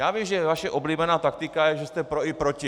Já vím, že vaše oblíbená taktika je, že jste pro i proti.